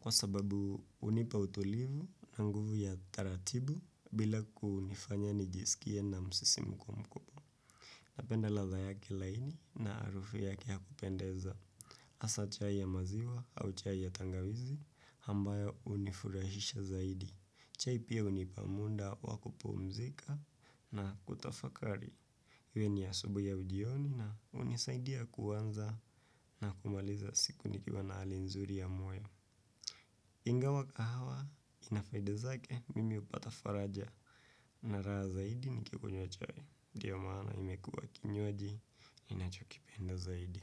kwa sababu unipa utulivu na nguvu ya taratibu bila kunifanya nijisikie na msisi mko mkubwa. Napenda ladha yake laini na arufu yake yakupendeza. Asa chai ya maziwa au chai ya tangawizi hambayo unifurahisha zaidi. Chai pia unipa munda wakupumzika na kutafakari. Iwe ni asubuhi au jioni na unisaidia kuanza na kumaliza siku nikiwa na hali nzuri ya moyo. Ingawa kahawa, inafaida zake, mimi upata faraja na raha zaidi nikikunywa chai. Ndio maana imekuwa kinywaji, ninachokipenda zaidi.